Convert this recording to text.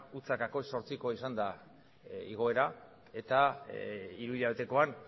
zero koma zortzikoa izan da igoera eta hiruhilabetekoan